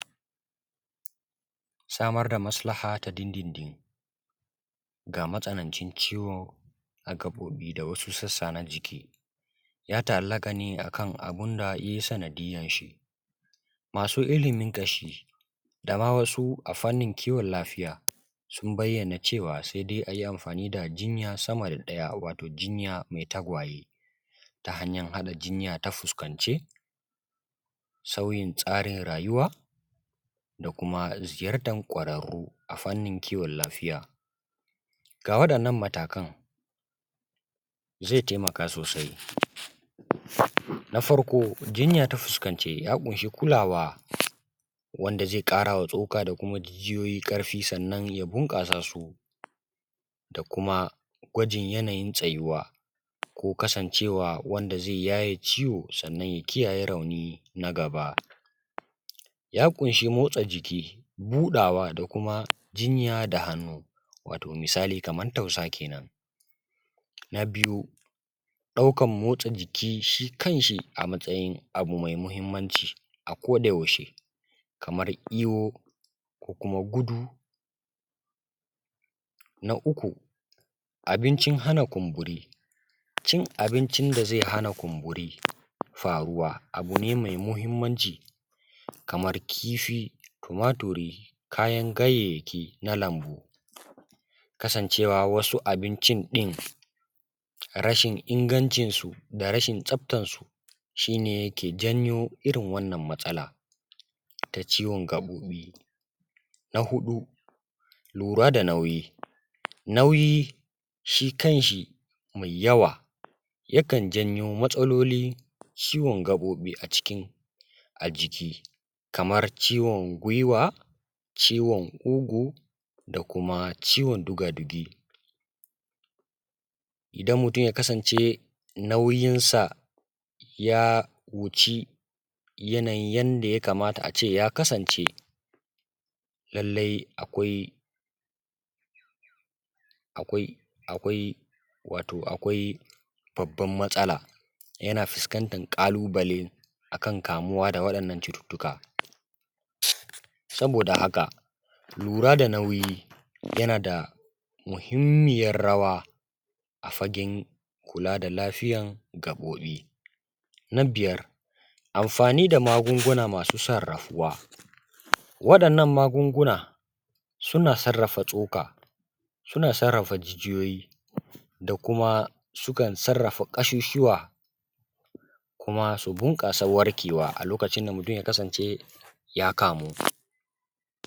samar da maslaha ta dindindin ga matsanancin ciwo a gaɓoɓi da wasu sassa na jiki ya ta’allaƙa ne a kan abin da ya yi sanadiyyanshi masu ilimin ƙashi da ma wasu a fannin lafiya sun bayyana cewa sai dai a yi amfani da jinya sama da ɗaya wato jinya mai tagwaye ta hanyan haɗa jinya ta fuskance sauyin tsarin rayuwa da kuma ziyartan ƙwararru a fannin kiwon lafiya ga waɗannan matakan zai taimaka sosai na farko jinya ta fuskance ya ƙunshi kulawa wanda zai ƙara wa tsoka da kuma jijiyoyi ƙarfi sannan ya bunƙasa su da kuma gwajin yanayin tsayuwa ko kasancewa wanda zai yaye ciwo sannan ya kiyaye rauni na gaba ya ƙunshi motsa jiki buɗawa da kuma jinya da hannu wato misali kaman tausa kenan na biyu ɗaukan motsa jiki shi kanshi a matsayin abu mai muhimmanci a ko da yaushe kamar iyo ko kuma gudu na uku abincin hana kumburi cin abincin da zai hana kumburi faruwa abu ne mai muhimmanci kamar kifi tumaturi kayan ganyayyaki na lambu kasancewa wasu abincin ɗin rashin ingancinsu da rashin tsaftansu shi ne yake janyo irin wannan matsala ta ciwon gaɓoɓi na huɗu lura da nauyi nauyi shi kanshi mai yawa yakan janyo matsalolin ciwon gaɓoɓi a cikin a jiki kamar ciwon gwiwa ciwon ƙugu da kuma ciwon dugadugi idan mutum ya kasance nauyinsa ya wuci yanayin yadda ya kamata a ce ya kasance lallai akwai akwai wato akwai babbar matsala yana fuskantar ƙalubale a kan kamuwa da waɗannan cututtuka saboda haka lura da nauyi yana da muhimmiyar rawa a fagen kula da lafiyan gaɓoɓi na biyar amfani da magunguna masu sarrafuwa waɗannan magunguna suna sarrafa tsoka suna sarrafa jijiyoyi da kuma sukan sarrafa ƙasusuwa kuma su bunƙasa warkewa a lokacin da mutum ya kasance ya kamu